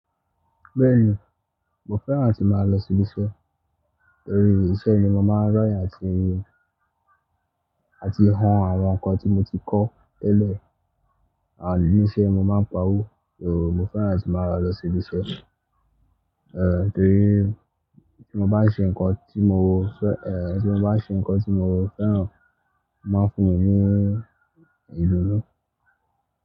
Bẹ́ẹ̀ni, mo fẹ́ràn atí màá lọ sí ìbi iṣẹ́, torí ibí iṣẹ́ mi mo máa ń rọ̀yàn àti, àti hun àwọn ǹkan tí mo ti kọ́ tẹ́lẹ̀. Àń, ní iṣẹ́ mo máa ń pawó, ò, mo fẹ́ràn atí màá lọ sí ìbi iṣẹ́. Ẹ̀, torí tí mo bá ṣe ǹkan tí mo fẹ́, ẹ̀, tí mo bá ṣe ǹkan tí mo fẹ́ràn máa ń fún mi ní ìdùnnú.